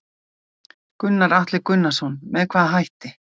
Gunnar Atli Gunnarsson: Með hvaða hætti?